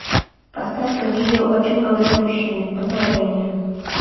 поставь ка видео о чем говорят мужчины продолжение